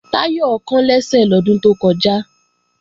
Táyọ̀ kán lẹ́sẹ̀ lọ́dún tó kọjá